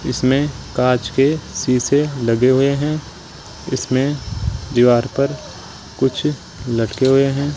इसमें कांच के शीशे लगे हुए हैं इसमें दीवार पर कुछ लटके हुए हैं।